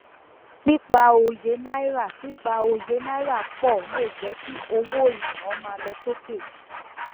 pípa òye náírà pípa òye náírà pò lè jẹ kí owó iná má lọ sókè